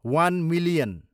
one million